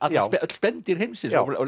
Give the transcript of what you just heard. öll spendýr heimsins